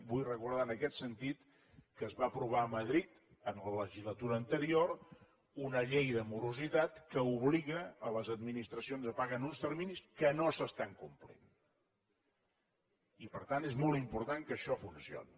vull recordar en aquest sentit que es va aprovar a madrid en la legislatura anterior una llei de morositat que obliga les administracions a pagar en uns terminis que no s’estan complint i per tant és molt important que això funcioni